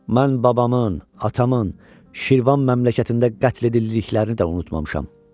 Mən babamın, atamın Şirvan məmləkətində qətl edildiklərini də unutmamışam.